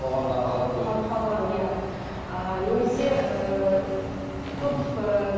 қоғамнан қалып қойды қалып қалған иә ыыы немесе ыыы көп ыыы